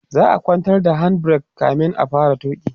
za'a kwantar da hand break kamin a fara tuki